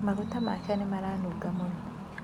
Maguta make nĩ maranunga mũno.